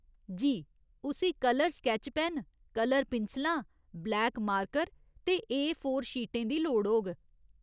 जी, उस्सी colour sketch pen, colour पिंसलां, black marker ते ए फोर शीटें दी लोड़ होग।